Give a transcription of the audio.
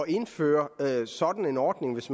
indføre sådan en ordning hvis